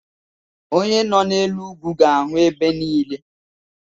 Onye nọ n'elu ugwu ga-ahụ ebe niile